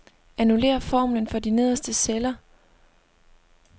Annullér formlen for de nederste celler.